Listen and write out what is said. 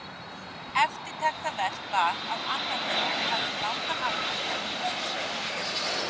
Eftirtektarvert var að annar þeirra hafði um langan aldur kennt lögspeki við